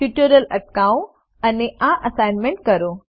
tutorial અટકાવો અને આ એસાઈનમેન્ટ કરો